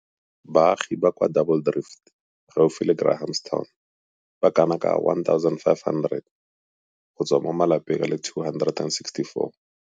Baagi ba kwa Double Drift gaufi le Grahamstown ba kana ka 1 500 go tswa mo malapeng a le 264.